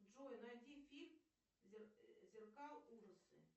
джой найди фильм зеркал ужасы